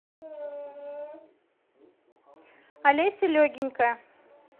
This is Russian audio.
олеся легенькая